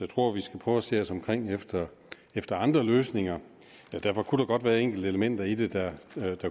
tror vi skal prøve at se os omkring efter efter andre løsninger men der kunne godt være enkelte elementer i det der